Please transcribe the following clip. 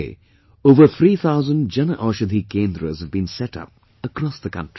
Today, over three thousand Jan Aushadhi Kendras have been set up across the country